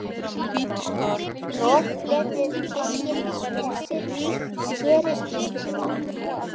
Roðflettið fiskinn, hreinsið og skerið í stykki.